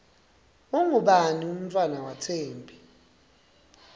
ungubani umntfwana wathembi